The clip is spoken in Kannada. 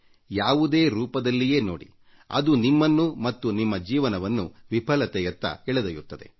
ಯಾವುದೇ ರೂಪದಲ್ಲಿಯೇ ನೋಡಿ ಅದು ನಿಮ್ಮನ್ನು ಮತ್ತು ನಿಮ್ಮ ಜೀವನವನ್ನು ವಿಫಲತೆಯತ್ತ ಎಳೆದೊಯ್ಯುತ್ತದೆ